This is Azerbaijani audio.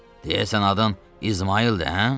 Deyəsən adın İsmayıldır, hə?